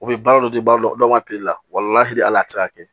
U bɛ baara dɔ di baara dɔ ka la hali hal'a ti se ka kɛ